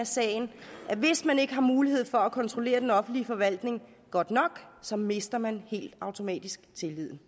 sagen at hvis man ikke har mulighed for at kontrollere den offentlige forvaltning godt nok så mister man helt automatisk tilliden